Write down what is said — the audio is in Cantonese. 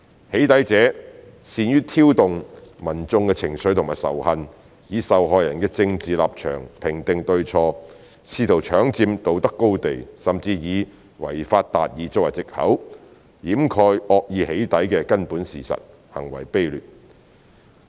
"起底"者善於挑動民眾的情緒和仇恨，以受害人的政治立場評定對錯，試圖搶佔道德高地，甚至以"違法達義"作為藉口，掩蓋惡意"起底"的根本事實，行為卑劣。